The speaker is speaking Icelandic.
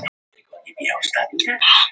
Hófí, hvernig er dagskráin?